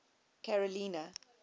carolina